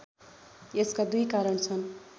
यसका दुई कारण छन्